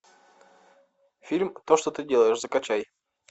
фильм то что ты делаешь закачай